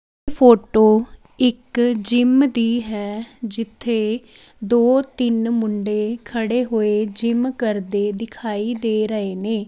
Photo ਇਕ gym ਦੀ ਹੈ ਜਿੱਥੇ ਦੋ ਤਿੰਨ ਮੁੰਡੇ ਖੜੇ ਹੋਏ ਜਿਮ ਕਰਦੇ ਦਿਖਾਈ ਦੇ ਰਹੇ ਨੇ।